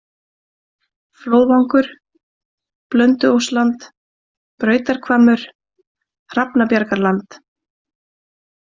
Flóðvangur, Blönduóssland, Brautarhvammur, Hrafnabjargarland